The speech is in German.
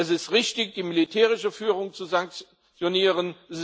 Es ist richtig, die militärische Führung zu sanktionieren.